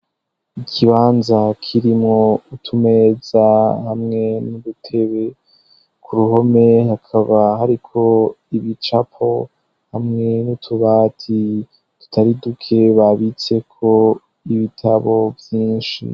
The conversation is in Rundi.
Ikibanza kirimwo utumeza hamwe n'udutebe, ku ruhome hakaba hariko ibicapo hamwe n'utubati tutari duke babitseko ibitabo vyinshi.